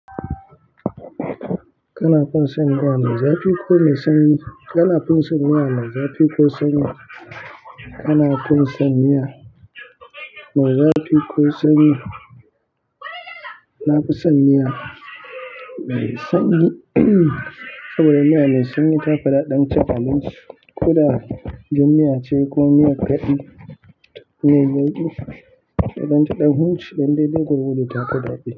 Kana fin san miya, me zafi ko sanyi. Kana fin san miya, me zafi ko sanyi. Kana fin san miya, me zafi ko sanyi. Na fi son miya mai sanyi saboda miya mai sanyi tafi daɗin cin abinci. Ko da jan miya ce ko miyan kaɗi miyar yauƙi, idan taɗan huce dan dai dai gwargwado ta fi daɗi.